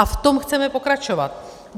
A v tom chceme pokračovat.